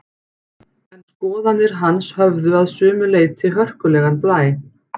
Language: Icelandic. En skoðanir hans höfðu að sumu leyti hörkulegan blæ.